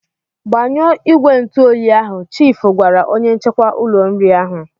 Gbanyụọ ìgwè ntụoyi ahụ!" Chiifu gwara onye nchekwa ụlọ nri ahụ.